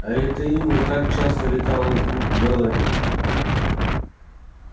а это имя так часто слетало с губ мелани